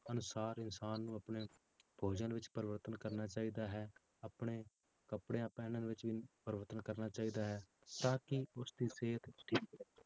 ਅਨੁਸਾਰ ਇਨਸਾਨ ਨੂੰ ਆਪਣੇ ਭੋਜਨ ਵਿੱਚ ਪਰਿਵਰਤਨ ਕਰਨਾ ਚਾਹੀਦਾ ਹੈ, ਆਪਣੇ ਕੱਪੜਿਆਂ ਪਹਿਨਣ ਵਿੱਚ ਵੀ ਪਰਿਵਰਤਨ ਕਰਨਾ ਚਾਹੀਦਾ ਹੈ, ਤਾਂ ਕਿ ਉਸਦੀ ਸਿਹਤ ਠੀਕ ਰਹੇ।